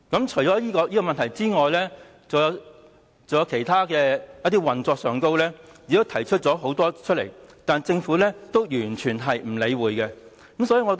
除了這個問題外，很多其他運作上的問題也提出了，但政府也是完全不理會。